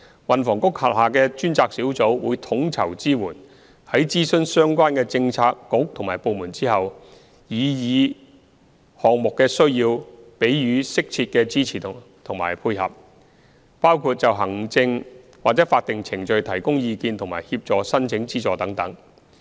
運房局轄下的專責小組會統籌支援，在諮詢相關的政策局和部門後，按擬議項目的需要給予適切的支持和配合，包括就行政或法定程序提供意見和協助申請資助等。